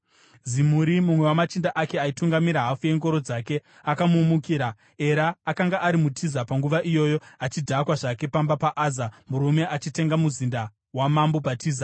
Zimuri, mumwe wamachinda ake, aitungamirira hafu yengoro dzake, akamumukira. Era akanga ari muTiza panguva iyoyo, achidhakwa zvake pamba paAza, murume aichengeta muzinda wamambo paTiza.